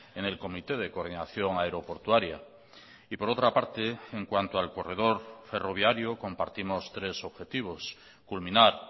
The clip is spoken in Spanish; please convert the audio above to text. en el comité de coordinación aeroportuaria y por otra parte en cuanto al corredor ferroviario compartimos tres objetivos culminar